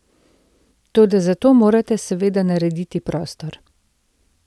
Toda za to morate seveda narediti prostor.